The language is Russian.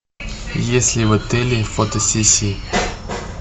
есть ли в отеле фотосессии